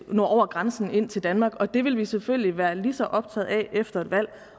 nå over grænsen til danmark og det vil vi selvfølgelig være lige så optaget af efter et valg